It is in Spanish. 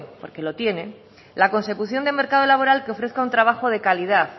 porque lo tiene la consecución de mercado laboral que ofrezca un trabajo de calidad